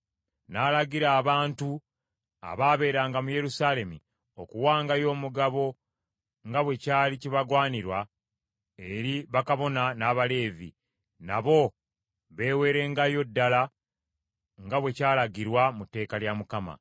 N’alagira abantu abaabeeranga mu Yerusaalemi okuwangayo omugabo nga bwe kyali kibagwanira eri bakabona n’Abaleevi, nabo beeweerengayo ddala nga bwe kyalagirwa mu tteeka lya Mukama .